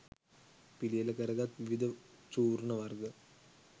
පිළියෙල කරගත් විවිධ චූර්ණ වර්ග